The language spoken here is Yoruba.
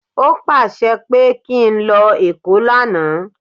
O pàṣẹ pé kí n lọ èkó lánàá